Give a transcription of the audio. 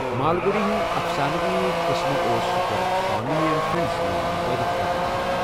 مالگڈی ہُند افسانوی قسمہٕ اوس گوٚڈٕ سوامی انڈ فرٚنڈسس منز مُتعرُف کرنہٕ آمُت۔